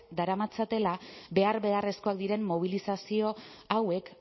daramatzatela behar beharrezkoak diren mobilizazio hauek